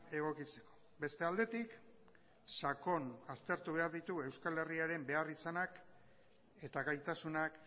egokitzeko beste aldetik sakon aztertu behar ditu euskal herriaren behar izanak eta gaitasunak